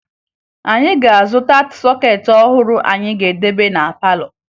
Anyị ga-azụta sọkeetị ọhụrụ anyị ga-edebe na palọ